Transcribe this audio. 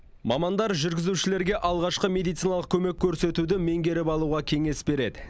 мамандар жүргізушілерге алғашқы медициналық көмек көрсетуді меңгеріп алуға кеңес береді